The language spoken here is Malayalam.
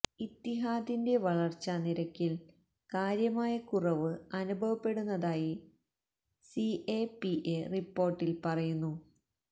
ഇത്തിഹാദിന്റെ വളര്ച്ചാ നിരക്കില് കാര്യമായ കുറവ് അനുഭവപ്പെടുന്നതായി സി എ പി എ റിപോര്ട്ടില് പറയുന്നു